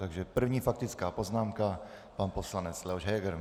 Takže první faktická poznámka, pan poslanec Leoš Heger.